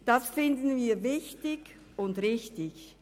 Das finden wir wichtig und richtig.